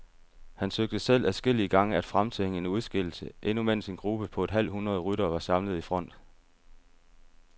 Han søgte selv adskillige gange at fremtvinge en udskillelse, endnu mens en gruppe på et halvt hundrede ryttere var samlet i front.